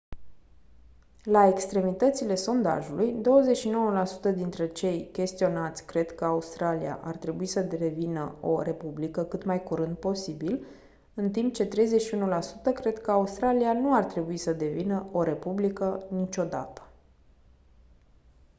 la extremitățile sondajului 29% dintre cei chestionați cred că australia ar trebui să devină o republică cât mai curând posibil în timp ce 31% cred că australia nu ar trebui să devină o republică niciodată